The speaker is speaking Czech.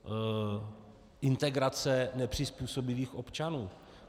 Integrace nepřizpůsobivých občanů.